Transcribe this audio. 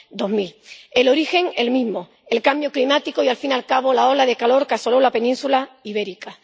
2000. El origen, el mismo el cambio climático y, al fin y al cabo, la ola de calor que asoló la península ibérica